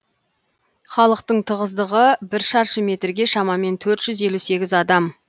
халықтың тығыздығы бір шаршы метрге шамамен төрт жүз елу сегіз адам